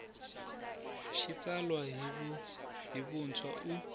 xi tsala hi vuntshwa u